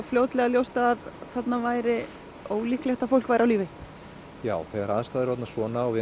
fljótlega ljóst að þarna væri ólíklegt að fólk væri á lífi já þegar aðstæður eru svona og